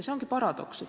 See ongi paradoks.